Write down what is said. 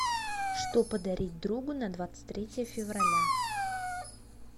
что подарить другу на двадцать третье февраля